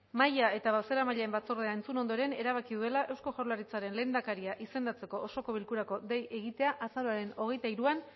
mahaia eta bozeramaileen batzordea entzun ondoren erabaki duela eusko jaurlaritzaren lehendakaria izendatzeko osoko bilkurarako deia egitea azaroaren hogeita hiruan